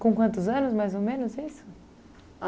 Com quantos anos, mais ou menos, isso?